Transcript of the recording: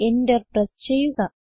enter press ചെയ്യുക